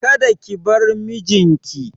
Kada ki bar mijin ki!